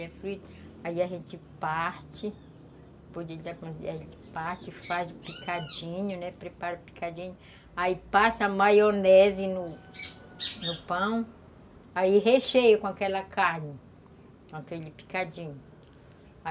Aí a gente parte, faz picadinho, né, prepara picadinho, aí passa maionese no pão, aí recheia com aquela carne, com aquele picadinho.